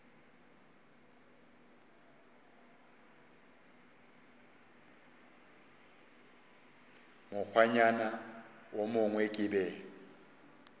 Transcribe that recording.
mokgwanyana wo mongwe ke be